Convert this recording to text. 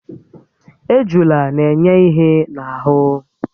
Ejula n'enye ihé n'ahụ́